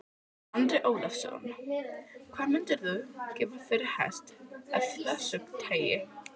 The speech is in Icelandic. Andri Ólafsson: Hvað myndirðu gefa fyrir hest af þessu tagi?